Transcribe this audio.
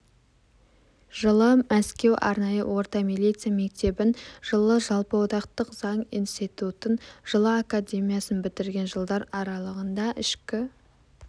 жылы мәскеу арнайы орта милиция мектебін жылы жалпыодақтық заң институтын жылы академиясын бітірген жылдар аралығында ішкі